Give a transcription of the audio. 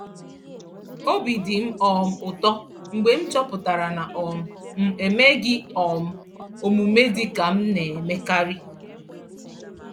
Obi dị m um ụtọ mgbe m chọpụtara na um m emeghị um omume dị ka m na-emekarị.